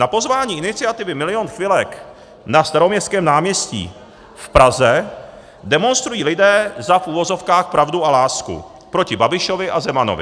Na pozvání iniciativy Milion chvilek na Staroměstském náměstí v Praze demonstrují lidé za - v uvozovkách - pravdu a lásku proti Babišovi a Zemanovi.